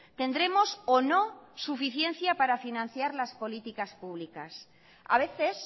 tendremos o no suficiencia para financiar las políticas públicas a veces